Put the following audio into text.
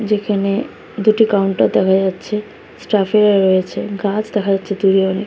যেখানে দুটি কাউন্টার দেখা যাচ্ছে স্টাফ এরা রয়েছে গাছ দেখা যাচ্ছে দু ধরণের।